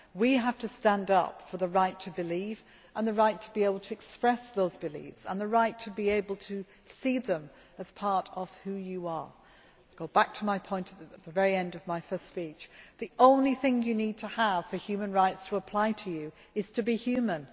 We have to stand up for the right to believe, the right to express beliefs and the right to be able to see them as part of who you are. To go back to the point I made at the end of my first speech the only thing you need to have for human rights to apply to you is to be human.